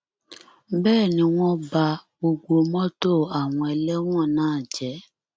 bẹẹ ni wọn ba gbogbo mọtò àwọn ẹlẹwọn náà jẹ